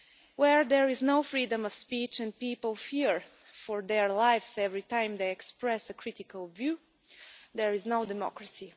Where there is no freedom of speech and people fear for their lives every time they express a critical view, there is no democracy.